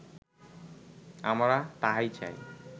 আমরা তাহাই চাই